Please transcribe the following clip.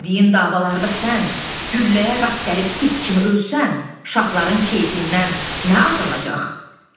Bu dediyin davalarda sən gülləyə rast gəlib it kimi ölsən, şahların keyfindən nə azalacaq?